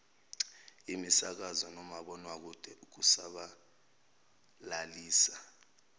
imisakazo nomabonwakude ukusabalalisa